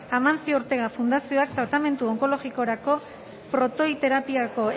amancio ortega fundazioak tratamendu onkologikorako protoiterapiako